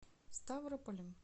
ставрополем